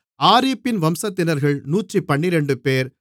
ஆரீப்பின் வம்சத்தினர்கள் 112 பேர்